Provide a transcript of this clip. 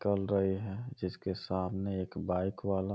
है जिसके सामने एक बाइक वाला --